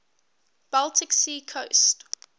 baltic sea coast